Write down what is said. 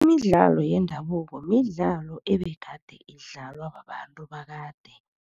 Imidlalo yendabuko midlalo ebegade idlalwa babantu bakade.